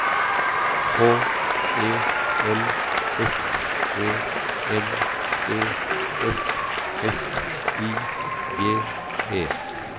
H E L S E M E S S I G E